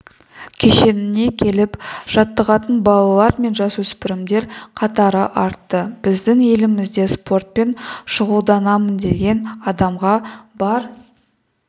кешеніне келіп жаттығатын балалар мен жасөспірімдер қатары артты біздің елімізде спортпен шұғылданамын деген адамға бар